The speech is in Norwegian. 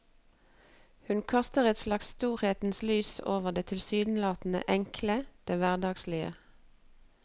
Hun kaster et slags storhetens lys over det tilsynelatende enkle, det hverdagslige.